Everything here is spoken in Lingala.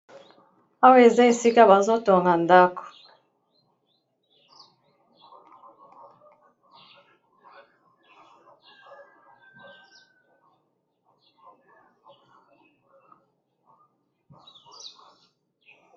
Awa eza esika bazotonga ndako.